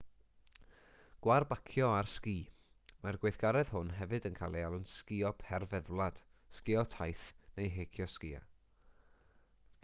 gwarbacio ar sgi mae'r gweithgaredd hwn hefyd yn cael ei alw'n sgïo perfeddwlad sgïo taith neu heicio sgïo